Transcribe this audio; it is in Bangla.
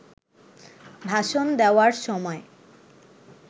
ভাষণ দেওয়ার সময়